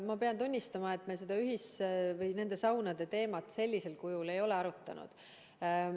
Ma pean tunnistama, et me seda saunade teemat sellisel kujul ei ole arutanud.